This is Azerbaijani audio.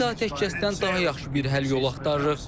Biz atəşkəsdən daha yaxşı bir həll yolu axtarırıq.